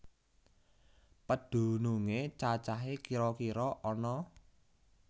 Pedhunungé cacahé kira kira ana